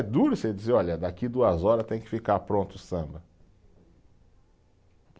É duro você dizer, olha, daqui duas horas tem que ficar pronto o samba.